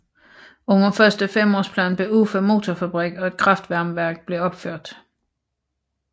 Under Første femårsplan blev Ufa Motorfabrik og et kraftvarmeværk blev opført